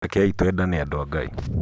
Rekei twendane andũ a Ngai.